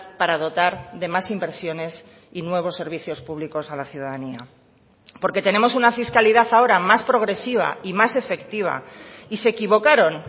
para dotar de más inversiones y nuevos servicios públicos a la ciudadanía porque tenemos una fiscalidad ahora más progresiva y más efectiva y se equivocaron